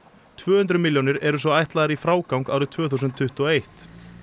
tvö hundruð milljónir eru svo ætlaðar í frágang árið tvö þúsund tuttugu og eitt